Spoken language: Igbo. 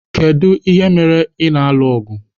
Kedu ihe mere ị na-alụ ọgụ?